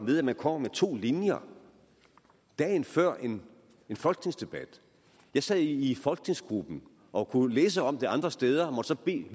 ved at man kommer med to linjer dagen før en folketingsdebat jeg sad i folketingsgruppen og kunne læse om det andre steder og må så bede